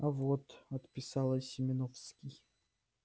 а вот отписала семёновский